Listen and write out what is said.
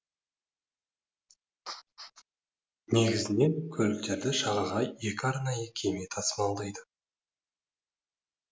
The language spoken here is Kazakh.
негізінен көліктерді жағаға екі арнайы кеме тасымалдайды